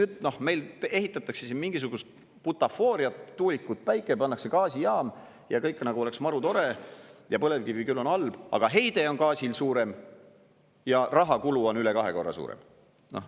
Ehk et meil ehitatakse siin mingisugust butafooriat: tuulikud, päike, pannakse gaasijaam ja kõik nagu oleks marutore ja põlevkivi küll on halb, aga heide on gaasil suurem ja rahakulu on üle kahe korra suurem.